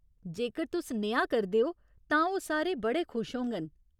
जेकर तुस नेहा करदे ओ तां ओह् सारे बड़े खुश होङन।